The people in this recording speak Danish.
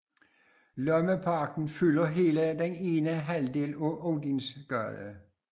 Lommeparken fylder hele den ene halvdel af Odinsgade